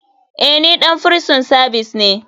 Eh ni ɗan firison savis ne.